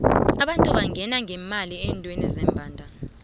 abantu bangena ngemali endeweni zembandana